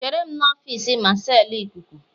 Chere m n'ọfịs Marshal ikuku